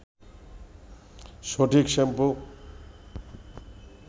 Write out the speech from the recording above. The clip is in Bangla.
সঠিক শ্যাম্পু